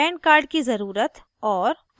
pan card की जरूरत और